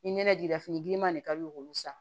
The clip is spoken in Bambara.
Ni nɛnɛ jira fini giriman de ka di u ye k'olu san